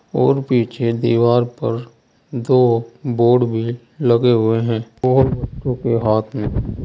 और पीछे दीवार पर दो बोर्ड भी लगे हुए हैं और बच्चों के हाथ में--